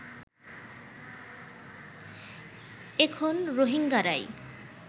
এখন রোহিঙ্গারাই